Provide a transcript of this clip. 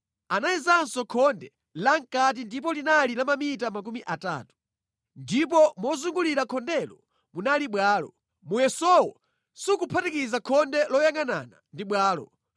Anayezanso khonde lamʼkati ndipo linali la mamita makumi atatu. Ndipo mozungulira khondelo munali bwalo. Muyesowu sukuphatikiza khonde loyangʼanana ndi bwalo.